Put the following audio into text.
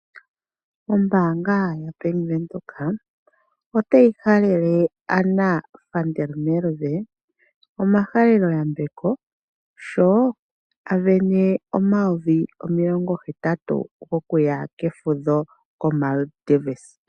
Ombaanga ya Bank Windhoek otayi halele Anna Van der Merwe omahalelo yambeko sho asindana omayovi omilongo hetatu gokuya kefudho ko Maldives.